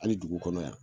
Hali dugu kɔnɔ yan